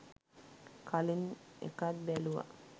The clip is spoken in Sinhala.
කලින් එකත් බැලුවා